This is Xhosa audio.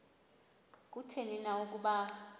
kutheni na ukuba